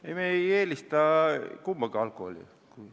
Ei, me ei eelista kumbagi alkoholi.